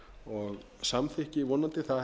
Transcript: og samþykki vonandi það